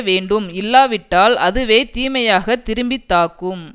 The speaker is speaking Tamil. வேண்டும் இல்லாவிட்டால் அதுவே தீமையாக திரும்பி தாக்கும்